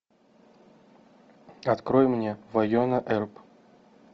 открой мне вайнона эрп